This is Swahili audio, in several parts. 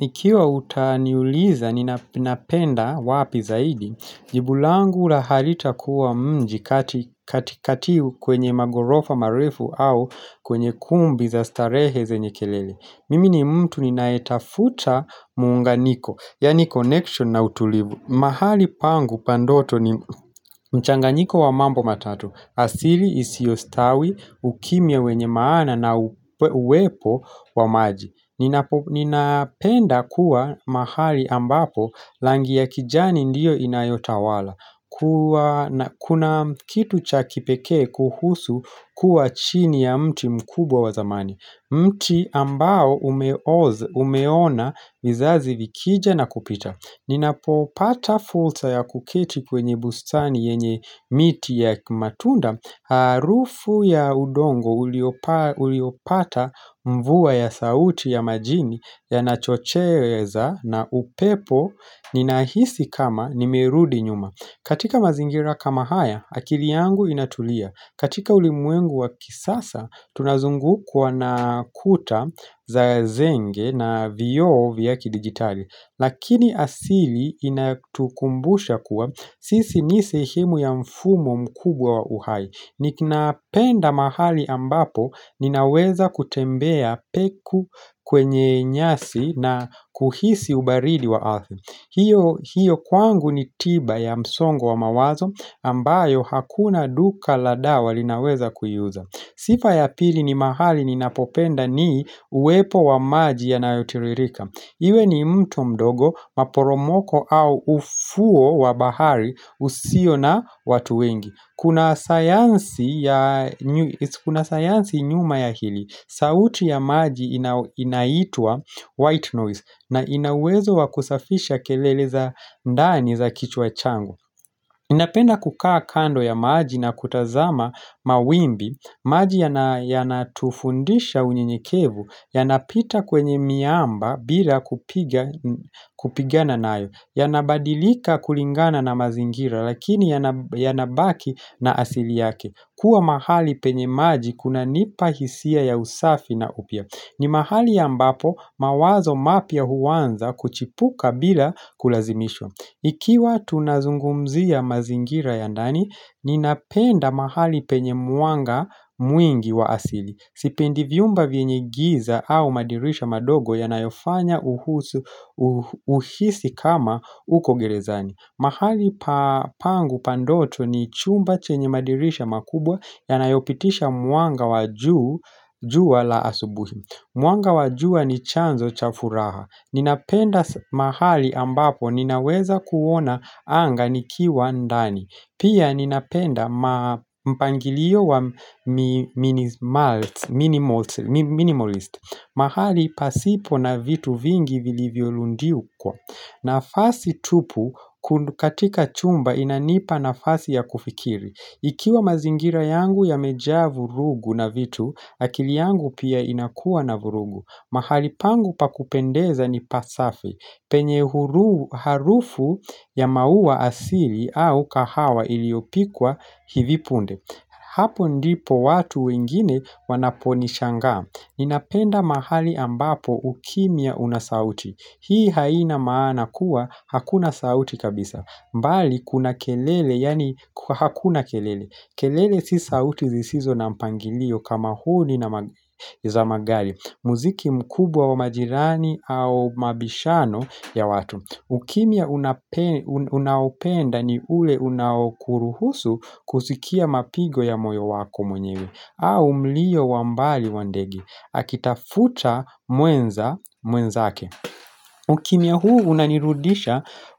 Ikiwa utaniuliza ninapenda wapi zaidi, jibu langu la halitakuwa mji katikati kwenye magorofa marifu au kwenye kumbi za starehe zenye kelele. Mimi ni mtu ninaetafuta muunganiko, yani connection na utulivu. Mahali pangu pa ndoto ni mchanganyiko wa mambo matatu, asili isiostawi, ukimya wenye maana na uwepo wa maji. Ninapenda kuwa mahali ambapo langi ya kijani ndio inayotawala Kuna kitu cha kipekee kuhusu kuwa chini ya mti mkubwa wa zamani mti ambao umeona vizazi vikija na kupita Ninapopata fulsa ya kukiti kwenye bustani yenye miti ya matunda Arufu ya udongo uliopata mvua ya sauti ya majini yanachocheweza na upepo ninahisi kama nimerudi nyuma katika mazingira kama haya, akili yangu inatulia katika ulimwengu wa kisasa, tunazungukwa na kuta za zenge na vioo vya kidigitali Lakini asili inatukumbusha kuwa sisi ni sehemu ya mfumo mkubwa wa uhai Nikina penda mahali ambapo ninaweza kutembea peku kwenye nyasi na kuhisi ubaridi wa athi hiyo kwangu ni tiba ya msongo wa mawazo ambayo hakuna duka la dawa linaweza kuiuza Sifa ya pili ni mahali ninapopenda nii uwepo wa maji ya nayotiririka Iwe ni mtu mdogo maporomoko au ufuo wa bahari usio na watu wengi Kuna sayansi nyuma ya hili sauti ya maji inaitwa white noise na ina uwezo wa kusafisha kelele za ndani za kichwa changu napenda kukaa kando ya maji na kutazama mawimbi maji yanatufundisha unyenyekevu Yanapita kwenye miamba bila kupigana nayo Yanabadilika kulingana na mazingira Lakini yanabaki na asili yake Kua mahali penye maji kuna nipahisia ya usafi na upya ni mahali ambapo mawazo mapya huanza kuchipuka bila kulazimishwa Ikiwa tunazungumzia mazingira ya ndani Ninapenda mahali penye mwanga mwingi wa asili Sipendi vyumba vyenye giza au madirisha madogo yanayofanya uhisi kama uko gerezani mahali pangu pa ndoto ni chumba chenye madirisha makubwa yanayopitisha mwanga wa jua la asubuhi Mwanga wa jua ni chanzo cha furaha Ninapenda mahali ambapo ninaweza kuona anga nikiwa ndani Pia ninapenda mpangilio wa minimalist. Mahali pasipo na vitu vingi vilivyoludikwa. Nafasi tupu katika chumba inanipa nafasi ya kufikiri. Ikiwa mazingira yangu yamejaa vurugu na vitu, akili yangu pia inakua na vurugu. Mahali pangu pa kupendeza ni pasafi. Penye harufu ya maua asili au kahawa iliopikwa hivi punde. Hapo ndipo watu wengine wanaponishangaa. Ninapenda mahali ambapo ukimya una sauti. Hii haina maana kuwa hakuna sauti kabisa. Mbali kuna kelele yani hakuna kelele. Kelele si sauti zisizo na mpangilio kama huu ni za magali Muziki mkubwa wa majirani au mabishano ya watu ukimya unaopenda ni ule unaokuruhusu kusikia mapigo ya moyo wako mwenyewe au mlio wa mbali wa ndege Akitafuta muenza muenzake ukimya huu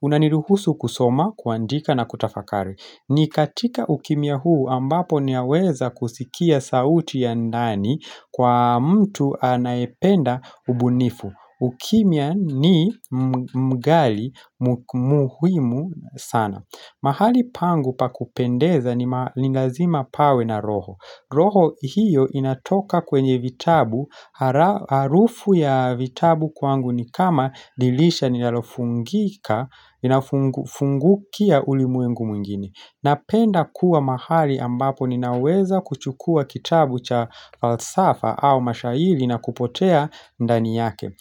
unaniruhusu kusoma, kuandika na kutafakari ni katika ukimya huu ambapo ni yaweza kusikia sauti ya ndani kwa mtu anaependa ubunifu. Ukimya ni mgali muhimu sana. Mahali pangu pa kupendeza ni malingazima pawe na roho. Roho hiyo inatoka kwenye vitabu. Harufu ya vitabu kwangu ni kama dilisha nilalofungika, inafungukia ulimwengu mwingine. Napenda kuwa mahali ambapo ninaweza kuchukua kitabu cha falsafa au mashahili na kupotea ndani yake.